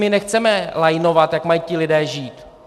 My nechceme lajnovat, jak mají ti lidé žít.